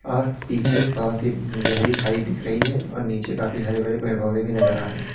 और पीछे बहोत ही गहरी खाई दिख रही है और नीचे काफी हरे भरे पेड़ पौधे भी नजर आ रहे--